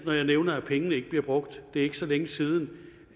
når jeg nævner at pengene ikke bliver brugt det er ikke så længe siden